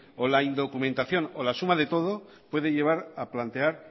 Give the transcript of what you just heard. o la indocumentación o la suma de todo pueden llevar a plantear